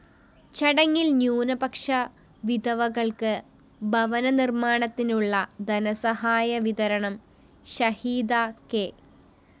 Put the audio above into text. ചടങ്ങില്‍ ന്യൂനപക്ഷ വിധവകള്‍ക്ക് ഭവന നിര്‍മ്മാണത്തിനുള്ള ധനസഹായവിതരണം ഷാഹിദ കെ